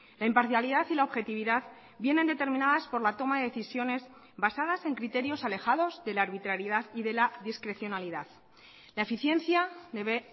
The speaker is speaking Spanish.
la imparcialidad y la objetividad vienen determinadas por la toma de decisiones basadas en criterios alejados de la arbitrariedad y de la discrecionalidad la eficiencia debe